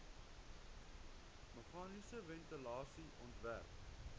meganiese ventilasie ontwerp